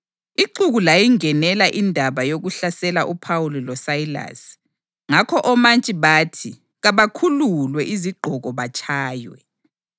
Ixuku layingenela indaba yokuhlasela uPhawuli loSayilasi, ngakho omantshi bathi kabakhululwe izigqoko batshaywe.